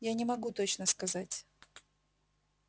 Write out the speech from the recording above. я не могу точно сказать